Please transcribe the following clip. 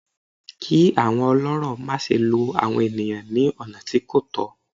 Kí àwọn ọlọ́rọ̀ má se lo àwọn ènìyàn ní ọ̀nà tí kò tọ̀